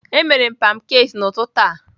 Emere m pancakes n'ụtụtụ a